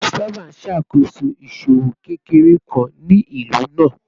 Christopher n ṣakoso iṣowo kekere kan ni ilu naa